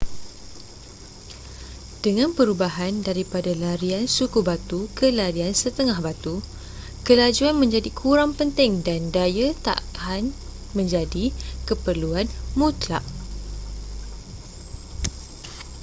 dengan perubahan daripada larian suku batu ke larian setengah batu kelajuan menjadi kurang penting dan daya tahan menjadi keperluan mutlak